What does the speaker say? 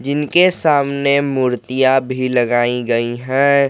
इनके सामने मूर्तियां भी लगाई गई है।